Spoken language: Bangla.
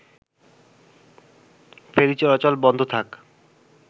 ফেরি চলাচল বন্ধ থাক